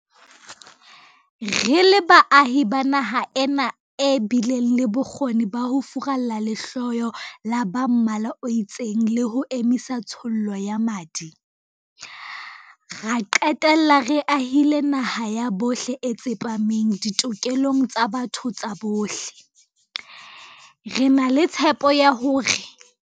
Re le baahi ba naha ena e bileng le bokgoni ba ho furalla lehloyo la ba mmala o itseng le ho emisa tshollo ya madi, ra qetella re ahile naha ya bohle e tsepameng ditokelong tsa botho tsa bohle, re na le tshepo ya hore